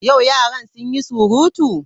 Yau yaran sun yi surutu?